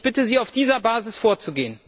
Ich bitte Sie, auf dieser Basis vorzugehen!